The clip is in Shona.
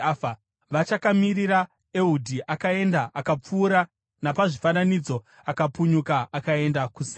Vachakamirira, Ehudhi akaenda. Akapfuura napazvifananidzo akapunyuka akaenda kuSeira.